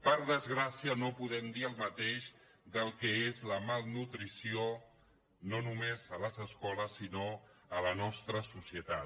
per desgràcia no podem dir el mateix del que és la malnutrició no només a les escoles sinó a la nostra societat